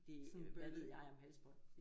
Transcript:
Det hvad ved jeg om halsbånd